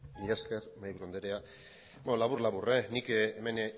mila esker mahaiburu andrea beno labur labur nik hemen